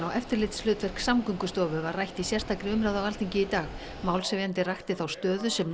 og eftirlitshlutverk Samgöngustofu var rætt í sérstakri umræðu á Alþingi í dag málshefjandi rakti þá stöðu sem